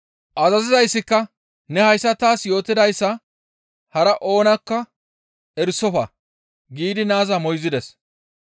Azazizayssika, «Ne hayssa taas yootidayssa hara oonakka erisofa» giidi naaza moyzides.